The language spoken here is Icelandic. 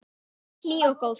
Alltaf svo hlý og góð.